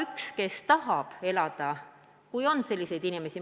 Neid, kes tahavad hooldekodus elada, ei ole väga palju – kui üldse on selliseid inimesi.